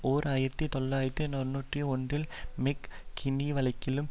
ஓர் ஆயிரத்தி தொள்ளாயிரத்து தொன்னூற்றி ஒன்றில் மெக் கின்னி வழக்கிலும்